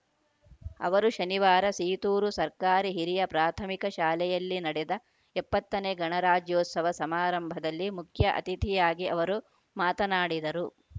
ಅವರು ಶನಿವಾರ ಸೀತೂರು ಸರ್ಕಾರಿ ಹಿರಿಯ ಪ್ರಾಥಮಿಕ ಶಾಲೆಯಲ್ಲಿ ನಡೆದ ಎಪ್ಪತ್ತನೇ ಗಣರಾಜ್ಯೋತ್ಸವ ಸಮಾರಂಭದಲ್ಲಿ ಮುಖ್ಯ ಅತಿಥಿಯಾಗಿ ಅವರು ಮಾತನಾಡಿದರು